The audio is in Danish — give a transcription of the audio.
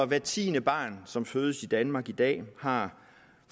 hvert tiende barn som fødes i danmark i dag har